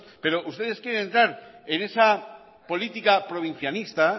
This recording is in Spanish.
pero ustedes quieren entrar en esa política provincianista